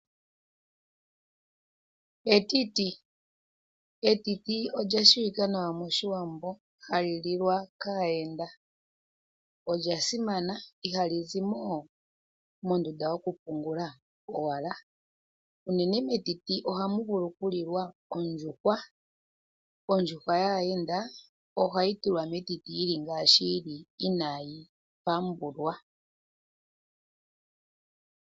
Etiti, etiti olya shiwika nawa moshiwambo hali lilwa kaayenda, olya simana ihali zi mo owala mondunda yoku pungula owala. Uunene metiti ohamu vulu oku lilwa ondjuhwa, ondjuhwa yaayende ohayi tulwa metiti yili ngaashi yili inaayi pambulwa.